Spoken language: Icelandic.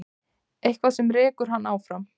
Eitthvað sem rekur hann áfram.